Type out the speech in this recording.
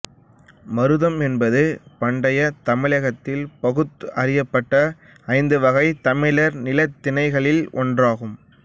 மருதம் என்பது பண்டைத் தமிழகத்தில் பகுத்து அறியப்பட்ட ஐந்து வகைத் தமிழர் நிலத்திணைகளில் ஒன்றாகும்